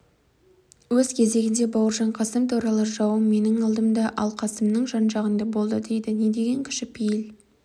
өз кезегінде бауыржан қасым туралы жауым менің алдымда ал қасымның жан-жағында болды дейді не деген кішіпейіл